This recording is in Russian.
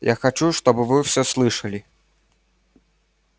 я хочу чтобы вы всё слышали